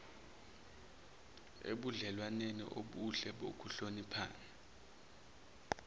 ebudlelwaneni obuhle bokuhloniphana